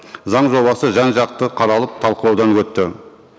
заң жобасы жан жақты қаралып талқылаудан өтті